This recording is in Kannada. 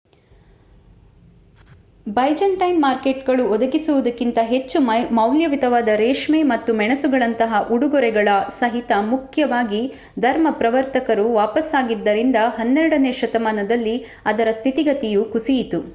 ಬೈಜಂಟೈನ್ ಮಾರ್ಕೆಟ್‌ಗಳು ಒದಗಿಸುವುದಕ್ಕಿಂತ ಹೆಚ್ಚು ಮೌಲ್ಯಯುತವಾದ ರೇಷ್ಮೆ ಮತ್ತು ಮೆಣಸುಗಳಂತಹ ಉಡುಗೊರೆಗಳ ಸಹಿತ ಮುಖ್ಯವಾಗಿ ಧರ್ಮಪ್ರವರ್ತಕರು ವಾಪಸಾಗಿದ್ದರಿಂದ ಹನ್ನೆರಡನೇ ಶತಮಾನದಲ್ಲಿ ಅದರ ಸ್ಥಿತಿಗತಿಯು ಕುಸಿಯಿತು